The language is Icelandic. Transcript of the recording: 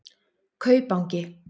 Kaupangi